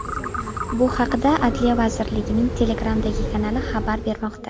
Bu haqda Adliya vazirligining Telegramdagi kanali xabar bermoqda .